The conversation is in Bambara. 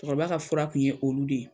Cɛkɔrɔba ka fura kun ye olu de ye